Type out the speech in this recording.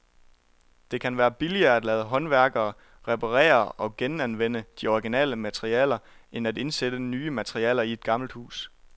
Det kan være billigere at lade håndværkere reparere og genanvende de originale materialer end at indsætte nye materialer i et gammelt hus.